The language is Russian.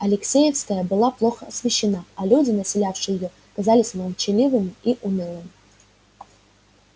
алексеевская была плохо освещена а люди населявшие её казались молчаливыми и унылыми